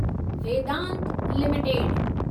Vedanta limited